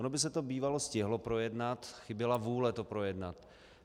Ono by se to bývalo stihlo projednat, chyběla vůle to projednat.